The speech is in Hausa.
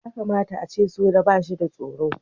Ya kamata a ce soja ba shi da tsoro.